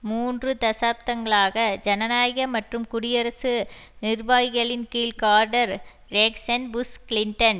மூன்று தசாப்தங்களாக ஜனநாயக மற்றும் குடியரசு நிர்வாகிகளின்கீழ் கார்டர் றேக்ஸன் புஷ் கிளின்டன்